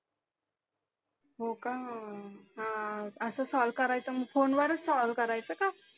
हो का हा असा solve करायचं phone च call करायचा का